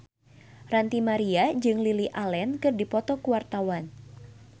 Ranty Maria jeung Lily Allen keur dipoto ku wartawan